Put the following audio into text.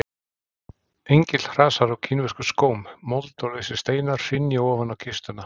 Engill hrasar á kínverskum skóm, mold og lausir steinar hrynja ofan á kistuna.